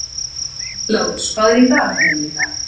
Lárus, hvað er á dagatalinu í dag?